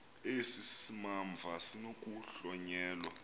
esi simamva sinokuhlonyelwa